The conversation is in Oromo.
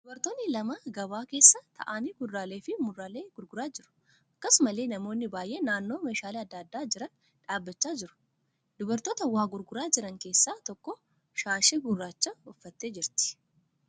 Dubartoonni lama gabaa keessa taa'anii kuduraalee fi muduraalee gurguraa jiru. Akkasumallee namoonni baay'een naannoo meeshaaleen adda addaa jiran dhaabbachaa jiru. Dubartoota waa gurguraa jiran keessaa tokko shaashii gurraacha uffattee jirti.